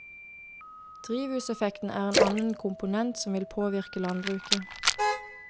Drivhuseffekten er en annen komponent som vil påvirke landbruket.